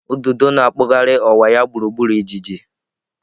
Ududo na-akpụgharị ọwa ya gburugburu ijiji.